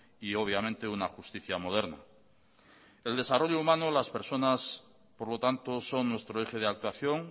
y obviamente una justicia moderna el desarrollo humano las personas por lo tanto son nuestro eje de actuación